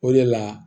O de la